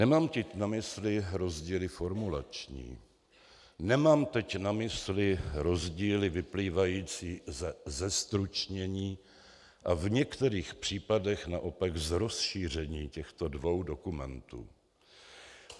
Nemám tím na mysli rozdíly formulační, nemám teď na mysli rozdíly vyplývající ze zestručnění a v některých případech naopak z rozšíření těchto dvou dokumentů.